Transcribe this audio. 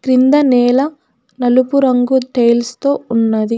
కింద నేల నలుపు రంగు టైల్స్ తో ఉన్నది.